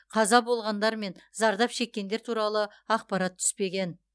қаза болғандар мен зардап шеккендер туралы ақпарат түспеген